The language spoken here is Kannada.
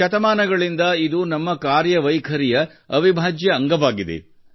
ಶತಮಾನಗಳಿಂದ ಇದು ನಮ್ಮ ಕಾರ್ಯವೈಖರಿಯ ಅವಿಭಾಜ್ಯ ಅಂಗವಾಗಿದೆ